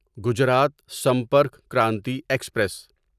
Gujarat Sampark Kranti express